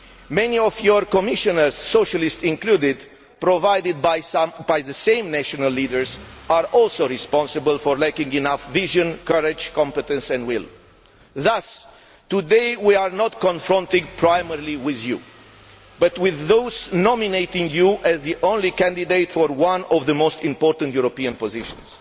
Many of your Commissioners, Socialists included, and provided by the same national leaders, are also responsible for lacking enough vision, courage, competence and will. Thus, today we are not just confronting you but those nominating you as the only candidate for one of the most important European positions.